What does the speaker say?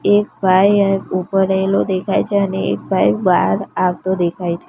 એક ભાઇ ઉભો રહેલો દેખાય છે અને એક ભાઈ બાર આવતો દેખાય છે.